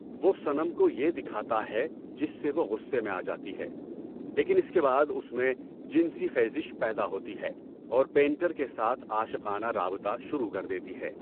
وہ صنم کو یہ دکھاتا ہے جس سے وہ غصے میں آ جاتی ہے، لیکن اس کے بعد اس میں جنسی خیزش پیدا ہوتی ہے اور پینٹر کے ساتھ عاشقانہ رابطہ شروع کر دیتی ہے۔